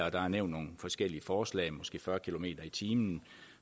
og der er nævnt nogle forskellige forslag om måske fyrre kilometer per time